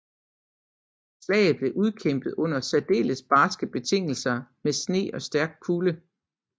Slaget blev udkæmpet under særdeles barske betingelser med sne og stærk kulde